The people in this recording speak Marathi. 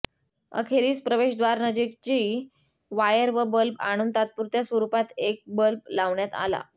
अखेरीस प्रवेशद्वारानजीकची वायर व बल्ब आणून तात्पुरत्या स्वरुपात एक बल्ब लावण्यात आला